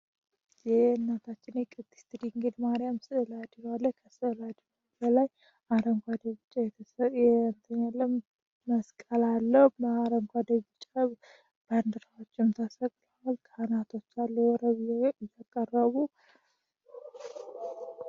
ይህ የእናታችን የቅዲስት ድንግድ ማሪያም ስዕለ አድኖ ከስዕለ አድኖ በላይ አረንጓዴ፣ ቢጫ የነትለም መስቀል አለው አረንጓዴ፣ ቢጫ ባንድራዎችም ተሰቅላዋል። ካህናቶች አሉ።